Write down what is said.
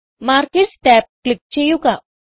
markers tab click ചെയ്യുക